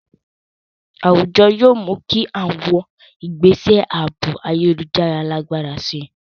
Àwùjọ yóò mú kí àwọn ìgbésẹ̀ ààbò ayélujára lágbára sí i.